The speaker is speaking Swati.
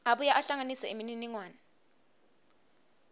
abuye ahlanganise imininingwane